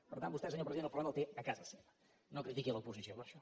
per tant vostè senyor president el problema el té a casa seva no critiqui l’oposició per això